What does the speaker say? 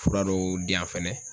Fura dɔw di yan fɛnɛ